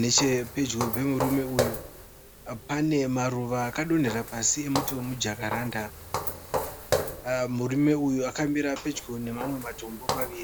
Nechepedyo pemurume uyu panemaruva akadonhera pasi emuti wemujakaranda. Murume uyu akamira pedyo nemamwe matombo maviri.